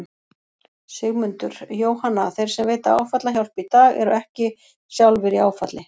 Sigmundur: Jóhanna, þeir sem veita áfallahjálp í dag eru þeir ekki sjálfir í áfalli?